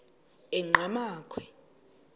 enqgamakhwe